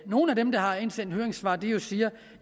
nogle af dem der har indsendt høringssvar siger